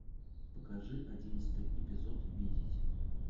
покажи одиннадцатый эпизод видеть